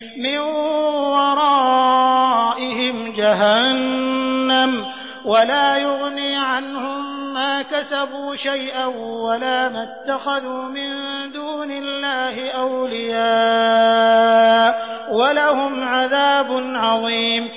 مِّن وَرَائِهِمْ جَهَنَّمُ ۖ وَلَا يُغْنِي عَنْهُم مَّا كَسَبُوا شَيْئًا وَلَا مَا اتَّخَذُوا مِن دُونِ اللَّهِ أَوْلِيَاءَ ۖ وَلَهُمْ عَذَابٌ عَظِيمٌ